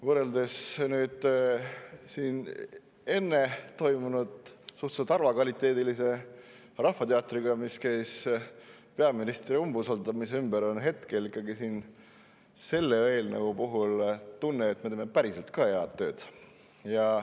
Võrreldes siin enne toimunud suhteliselt halvakvaliteedilise rahvateatriga peaministri umbusaldamise teemal on selle eelnõu puhul tunne, et me teeme päriselt ka head tööd.